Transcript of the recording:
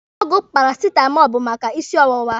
Ọgwụ parasitamọlụ bụ maka isi ọwụwa.